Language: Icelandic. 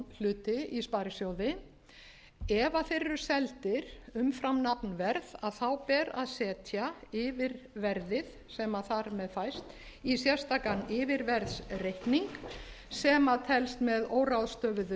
stofnhluti í sparisjóði ef þeir eru seldir umfram nafnverð ber að setja yfirverðið sem þar með fæst í sérstakan yfirverðsreikning sem telst með óráðstöfuðu